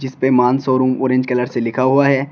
इस पे मान शोरूम ऑरेंज कलर से लिखा हुआ है।